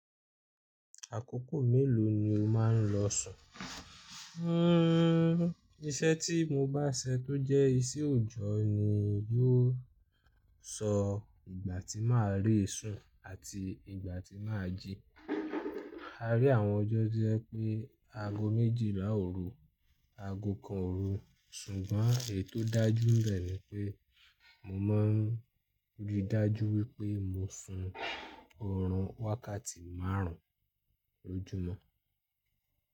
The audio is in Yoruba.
Àkókò mélòó ni o máa ń lọ sùn? Iṣẹ́ tí mo bá se tó jẹ́ isẹ́ òòjọ́ ni, yóò sọ ìgbà tí màá rí ìsun àti ìgbà tí màá jí. A rí àwọn ọjọ́ tojẹ pé aago méjìlá òru, aago kan òru, ṣùgbọ́n è tò dájú nbẹ ní pé mo mọ ń rí dájú wípé mo sun orun wákàtí márùn-ún lójúmọ́.